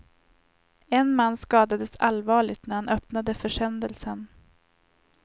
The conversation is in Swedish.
En man skadades allvarligt när han öppnade försändelsen.